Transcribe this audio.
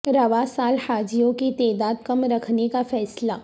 رواں سال حاجیوں کی تعداد کم رکھنے کا فیصلہ